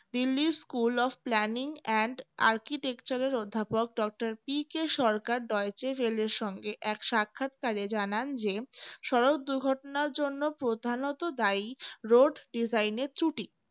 দিল্লির school of planning and architecture এর অধ্যাপক doctor PK Sarkar doyte railway র সঙ্গে এক সাক্ষাৎকারে জানান যে সড়ক দুর্ঘটনার জন্য প্রধানত দায়ী road design এর ত্রূটি